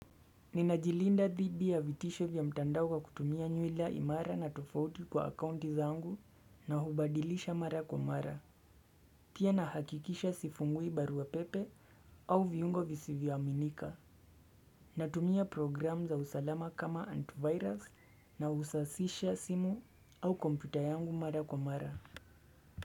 Ninajilinda dhibi ya vitisho vya mtandao kutumia nyuila imara na tofauti kwa akaunti za angu na hubadilisha mara kwa mara Pia nahakikisha sifungui barua pepe au viungo visivi wa minika Natumia program za usalama kama antivirus na usasisha simu au kompita yangu mara kwa mara.